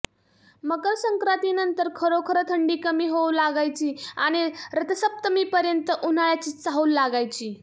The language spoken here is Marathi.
मकर संक्रांतीनंतर खरोखर थंडी कमी होऊ लागायची आणि रथसप्तमीपर्यंत उन्हाळ्याची चाहूल लागायची